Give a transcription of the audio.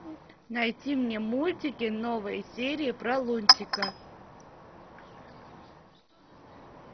найти мне мультики новые серии про лунтика